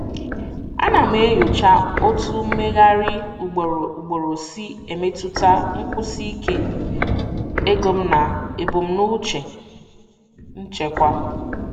Ana m enyocha otú mmegharị ugboro ugboro si emetụta nkwụsi ike ego m na ebumnuche nchekwa.